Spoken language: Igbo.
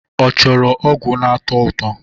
Ọ chọrọ ọgwụ na-atọ ụtọ?